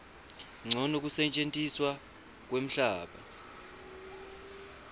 ncono kusetjentiswa kwemhlaba